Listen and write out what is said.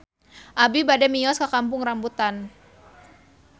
Abi bade mios ka Kampung Rambutan